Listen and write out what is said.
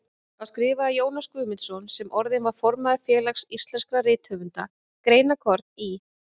Þá skrifaði Jónas Guðmundsson, sem orðinn var formaður Félags íslenskra rithöfunda, greinarkorn í